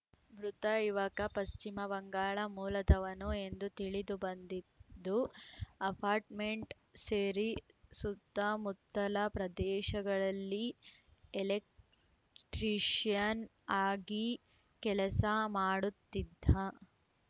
ಮೃತ ಯುವಕ ಪಶ್ಚಿಮ ಬಂಗಾಳ ಮೂಲದವನು ಎಂದು ತಿಳಿದು ಬಂದಿದ್ದು ಅಪಾರ್ಟ್‌ಮೆಂಟ್‌ ಸೇರಿ ಸುತ್ತಮುತ್ತಲ ಪ್ರದೇಶಗಳಲ್ಲಿ ಎಲೆಕ್ಟ್ರೀಶಿಯನ್‌ ಆಗಿ ಕೆಲಸ ಮಾಡುತ್ತಿದ್ದ